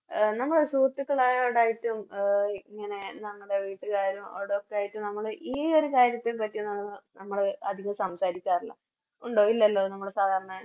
നമ്മള് ഒരു സുഹൃത്തുക്കളോടായിറ്റും ഇങ്ങനെ നമ്മുടെ വീട്ടിലായാലും അവിടൊക്കെ ആയിറ്റും നമ്മള് ഈയൊരു കാര്യത്തെ പറ്റി നമ്മള് അതികം സംസാരിക്കാറില്ല ഉണ്ടോ ഇല്ലല്ലോ നമ്മള് സാധാരണ